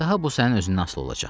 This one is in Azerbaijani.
Daha bu sənin özündən asılı olacaq.